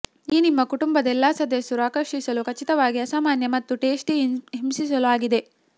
ಈ ನಿಮ್ಮ ಕುಟುಂಬದ ಎಲ್ಲಾ ಸದಸ್ಯರು ಆಕರ್ಷಿಸಲು ಖಚಿತವಾಗಿ ಅಸಾಮಾನ್ಯ ಮತ್ತು ಟೇಸ್ಟಿ ಹಿಂಸಿಸಲು ಆಗಿದೆ